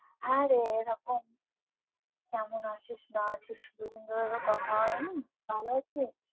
হ্যাঁ রে এরকম কেমন আছিস না আছিস দুদিন ধরে যে কথা হয়নি ভালো আছিস?